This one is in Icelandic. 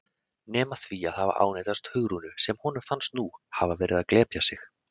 Nema því að hafa ánetjast Hugrúnu sem honum fannst nú hafa verið að glepja sig.